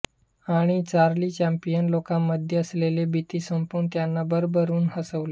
आणि Charlie Chaplin लोकांमध्ये असलेली भीती संपवून त्यांना भरभरून हसवले